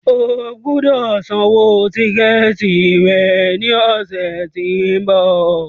O gbọ́dọ̀ san owó tíkẹ̀tì rẹ ní ọ̀sẹ̀ tí ń bọ̀.